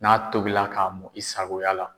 N'a tobila k'a mɔn i sagoya la